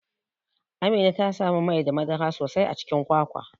Amina tasamu Mai da madara sosai a Cikin kwakwa.